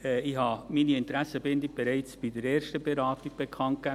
Ich habe meine Interessenbindung bereits bei der ersten Beratung bekannt gegeben.